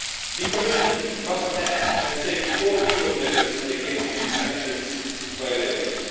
The Commission must act and take all legal measures against these sanctions violators.